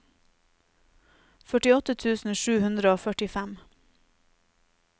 førtiåtte tusen sju hundre og førtifem